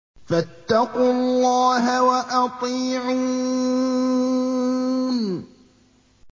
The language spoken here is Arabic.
فَاتَّقُوا اللَّهَ وَأَطِيعُونِ